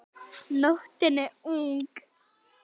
Nóttin er ung